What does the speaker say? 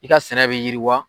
I ka sɛnɛ bɛ yiriwa.